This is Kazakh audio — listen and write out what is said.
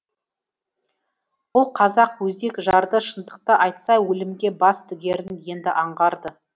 бұл қазақ өзек жарды шындықты айтса өлімге бас тігерін енді аңғарды